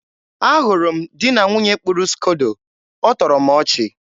a hụrụ m di na nwunye kpụrụ skodo. ọ tọrọ m ọchị.